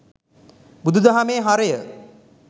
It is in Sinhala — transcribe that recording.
බුදුදහමේ හරය